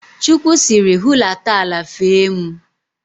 Chukwu sịrị, hulata ala fee mụ!